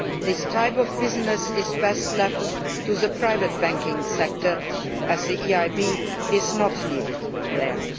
This type of business is best left to the private banking sector, as the EIB is not needed there.